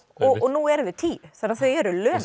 og nú eru þau tíu þannig að þau eru lömuð